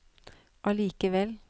allikevel